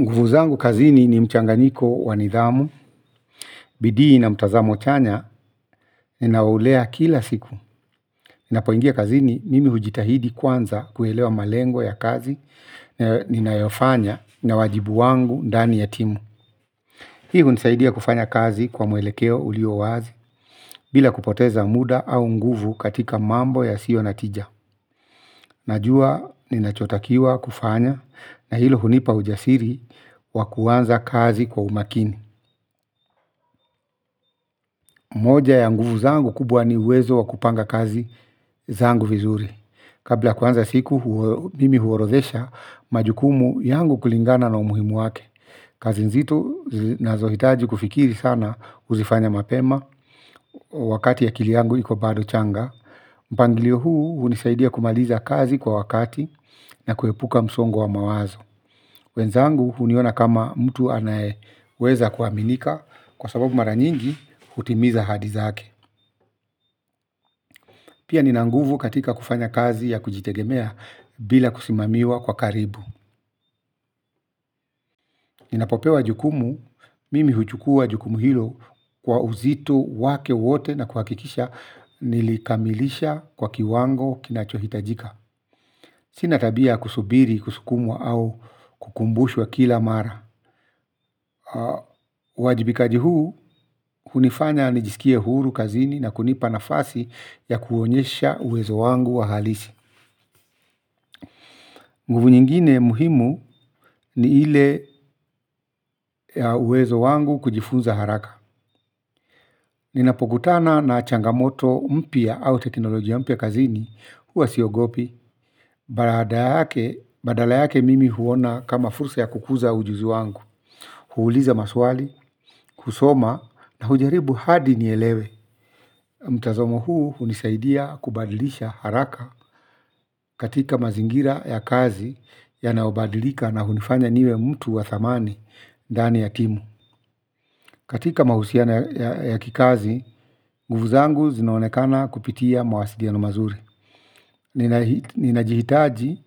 Nguvu zangu kazini ni mchanganyiko wa nidhamu, bidii na mtazamo chanya, ninaulea kila siku. Ninapoingia kazini nimi hujitahidi kwanza kuelewa malengo ya kazi, ninayofanya, na wajibu wangu ndani ya timu. Hii hunisaidia kufanya kazi kwa mwelekeo ulio wazi, bila kupoteza muda au nguvu katika mambo yasiyo na tija. Najua ninachotakiwa kufanya, na hilo hunipa ujasiri wa kuanza kazi kwa umakini. Moja ya nguvu zangu kubwa ni uwezo wa kupanga kazi zangu vizuri. Kabla ya kuanza siku mimi huorodhesha majukumu yangu kulingana na umuhimu wake. Kazi nzito zinazohitaji kufikiri sana huzifanya mapema. Wakati akili yangu iko bado changa. Mpangilio huu hunisaidia kumaliza kazi kwa wakati na kuepuka msongo wa mawazo. Wenzangu huniona kama mtu anayeweza kuaminika kwa sababu mara nyingi hutimiza ahadi zake pia nina nguvu katika kufanya kazi ya kujitegemea bila kusimamiwa kwa karibu. Ninapopewa jukumu, mimi huchukua jukumu hilo kwa uzito wake wote na kuhakikisha nilikamilisha kwa kiwango kinachohitajika. Sina tabia ya kusubiri, kusukumwa au kukumbushwa kila mara. Uwajibikaji huu, hunifanya nijisikie huru kazini na kunipa nafasi ya kuonyesha uwezo wangu wa halisi. Nguvu nyingine muhimu ni ile ya uwezo wangu kujifunza haraka. Ninapokutana na changamoto mpya au teknolojia mpya kazini huwa siogopi badala yake mimi huona kama fursa ya kukuza ujuzi wangu. Huuliza maswali, kusoma na hujaribu hadi nielewe. Mtazomo huu hunisaidia kubadilisha haraka katika mazingira ya kazi yanayobadilika na hunifanya niwe mtu wa thamani ndani ya timu. Katika mahusiano ya kikazi, nguvu zangu zinaonekana kupitia mawasiliano mazuri. Ninahitaji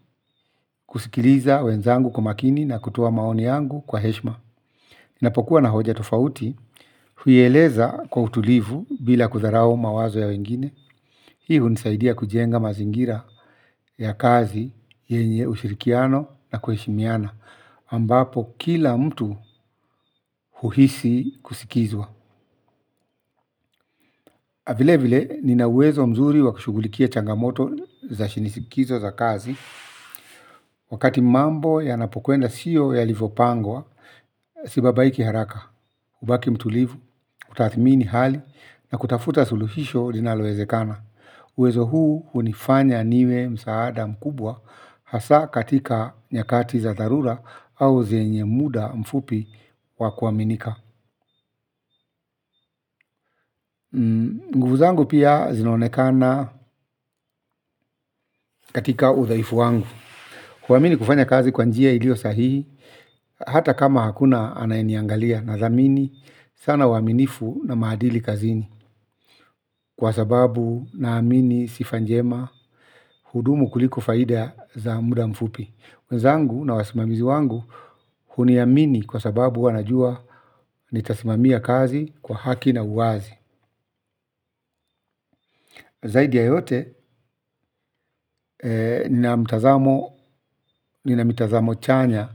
kusikiliza wenzangu kwa makini na kutoa maoni yangu kwa heshima. Ninapokuwa na hoja tofauti, huieleza kwa utulivu bila kutharau mawazo ya wengine. Hii hunisaidia kujenga mazingira ya kazi yenye ushirikiano na kuheshimiana ambapo kila mtu huhisi kusikizwa. Vile vile nina uwezo mzuri wa kushugulikia changamoto za shinisikizo za kazi. Wakati mambo ya napkwenda sio yalivopangwa. Sibabaiki haraka hubaki mtulivu, utathmini hali na kutafuta suluhisho linalowezekana. Uwezo huu hunifanya niwe msaada mkubwa hasa katika nyakati za dharura au zenye muda mfupi wa kuaminika. Nguvu zangu pia zinaonekana katika uvumilivu wangu. Kuamini kufanya kazi kwa njia iliyo sahihi, hata kama hakuna anayeniangalia nathamini, sana uaminifu na maadili kazini. Kwa sababu naamini sifa njema hudumu kuliko faida za muda mfupi. Wenzangu na wasimamizi wangu huniamini kwa sababu wanajua nitasimamia kazi kwa haki na uwazi. Zaidi ya yote nina mitazamo chanya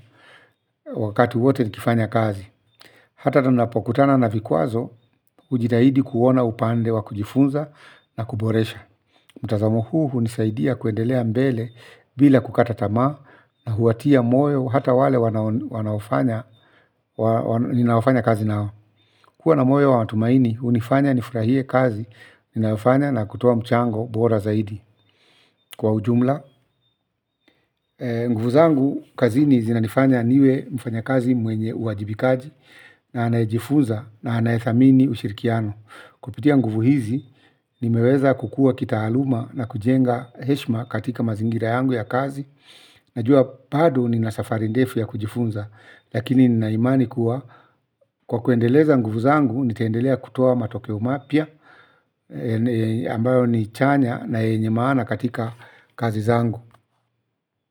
wakati wote nikifanya kazi hata ninapokutana na vikwazo hujitahidi kuona upande wa kujifunza na kuboresha. Mtazamo huu hunisaidia kuendelea mbele bila kukata tamaa na kuwatia moyo hata wale ninaofanya kazi nao kuwa na moyo wa matumaini, hunifanya nifurahie kazi, ninayofanya na kutoa mchango bora zaidi kwa ujumla. Nguvu zangu kazini zinanifanya niwe mfanyakazi mwenye uwajibikaji na anayejifunza na anayethamini uwajibikaji. Kupitia nguvu hizi, nimeweza kukua kitaaluma na kujenga heshima katika mazingira yangu ya kazi. Najua bado nina safari ndefu ya kujifunza, lakini nina imani kuwa. Kwa kuendeleza nguvu zangu, nitaendelea kutoa matokeo mapya yale ambayo ni chanya na yenye maana katika kazi zangu.